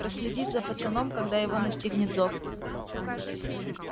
проследить за пацаном когда его настигнет зов